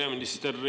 Hea peaminister!